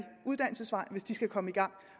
uddannelsesvej hvis de skal komme i gang